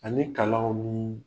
Ani kalanwuu